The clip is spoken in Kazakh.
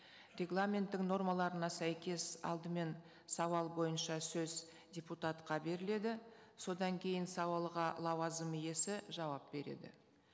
регламенттің нормаларына сәйкес алдымен сауал бойынша сөз депутатқа беріледі содан кейін сауалға лауазым иесі жауап береді